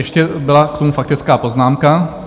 Ještě byla k tomu faktická poznámka.